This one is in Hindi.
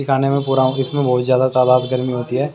खाने में पूरा इसमें बहुत ज्यादा तादाद गर्मी होती है।